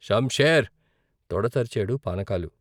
షం షేర్ తొడ చరిచాడు పానకాలు.